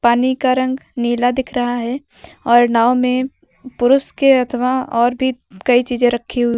पानी का रंग नीला दिख रहा है और नाव में पुरुष के अथवा और भी कई चीजें रखी हुई--